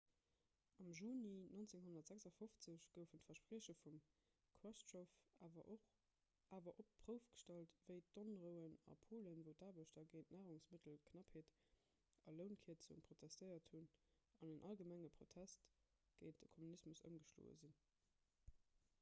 am juni 1956 goufen d'versprieche vum chruschtschow awer op d'prouf gestallt wéi d'onrouen a polen wou d'aarbechter géint d'narungsmëttelknappheet a lounkierzunge protestéiert hunn an en allgemenge protest géint de kommunismus ëmgeschloe sinn